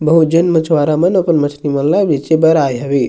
बहुत झन मछुवारा मन अपन मछली मन ल बेचे बर आए हवे।